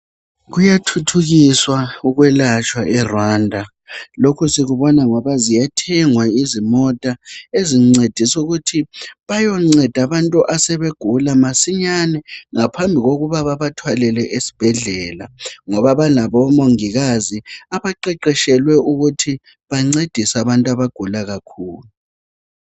Kuyathuthukiswa ukwelatshwa eRwanda , lokhu sikubona ngoba ziyathengwa izimota ezincedisa ukuthi bayonceda abantu asebegula masinyane ngaphambi kokuba babathwalele esibhedlela ngoba banabo omongikazi abaqeqetshelwe ukuthi bancedise abantu asebegula kakhulu